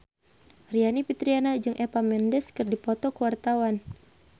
Aryani Fitriana jeung Eva Mendes keur dipoto ku wartawan